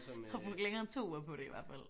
Har brugt længere end 2 uger på det i hvert fald